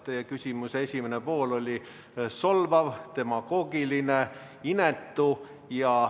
Teie küsimuse esimene pool oli solvav, demagoogiline, inetu.